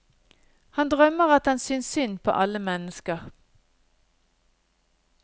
Han drømmer at han synes synd på alle mennesker.